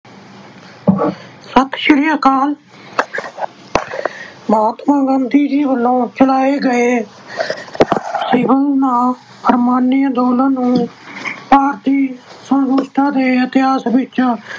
ਸਤਿ ਸ੍ਰੀ ਅਕਾਲ। ਮਹਾਤਮਾ ਗਾਂਧੀ ਜੀ ਵੱਲੋਂ ਚਲਾਏ ਗਏ ਸਿਵਲ-ਨਾ-ਫੁਰਮਾਨੀ ਅੰਦੋਲਨ ਨੂੰ ਭਾਰਤੀ ਸੁੰਤਤਰਤਾ ਦੇ ਇਤਿਹਾਸ ਵਿੱਚ